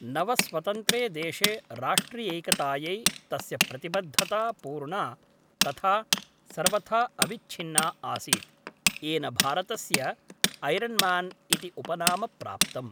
नवस्वतन्त्रे देशे राष्ट्रियैकतायै तस्य प्रतिबद्धता पूर्णा तथा सर्वथा अविच्छिन्ना आसीत्, येन भारतस्य ऐरन्मान् इति उपनाम प्राप्तम्।